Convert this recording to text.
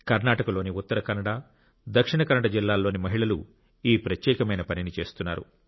కర్ణాటకలోని ఉత్తర కన్నడ దక్షిణ కన్నడ జిల్లాల్లోని మహిళలు ఈ ప్రత్యేకమైన పనిని చేస్తున్నారు